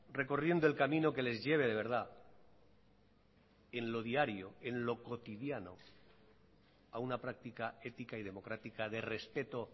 recorriendo el camino que les lleve de verdad en lo diario en lo cotidiano a una práctica ética y democrática de respeto